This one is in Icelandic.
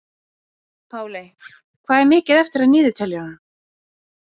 Páley, hvað er mikið eftir af niðurteljaranum?